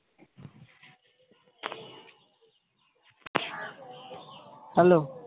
Hello?